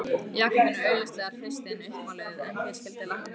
Jakobína er augljóslega hreystin uppmáluð en hvað skyldi læknir segja?